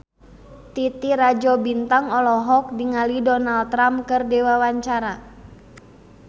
Titi Rajo Bintang olohok ningali Donald Trump keur diwawancara